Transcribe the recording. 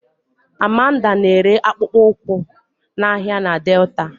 Amanda na-ere akpụkpọ ụkwụ n'ahịa na Delta